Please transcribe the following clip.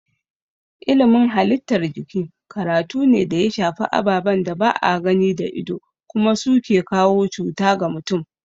Ilimin halittar jiki karatu ne da ya shafi ababen da ba a gani da ido kuma su ke kawo cuta ga mutum.